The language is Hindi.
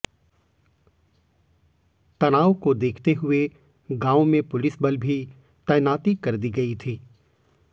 तनाव केा देखते हुए गांव में पुलिसबल भी तैनाती कर दी गई थी